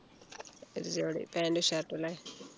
ഒരു ജോഡി pant ഉം shirt ഉം ല്ലേ